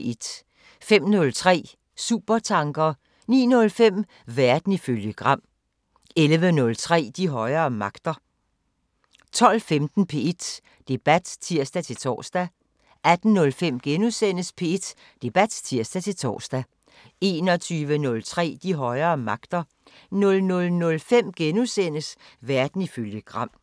05:03: Supertanker 09:05: Verden ifølge Gram 11:03: De højere magter 12:15: P1 Debat (tir-tor) 18:05: P1 Debat *(tir-tor) 21:03: De højere magter 00:05: Verden ifølge Gram *